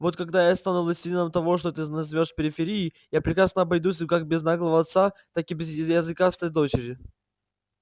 вот когда я стану властелином того что ты называешь периферией я прекрасно обойдусь как без наглого отца так и без языкастой дочери